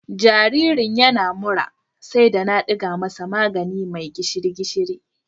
Jaririn yana da mura sai na ɗiga masa magani mai gishiri-gishiri..